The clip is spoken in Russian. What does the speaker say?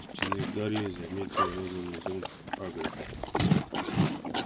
у стены гарри заметил розовый зонт хагрида